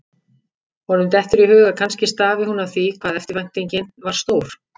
Honum dettur í hug að kannski stafi hún af því hvað eftirvæntingin var stór.